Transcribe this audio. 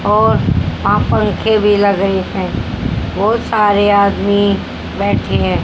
और वहां पंखे भी लगे हैं बहुत सारे आदमी बैठे--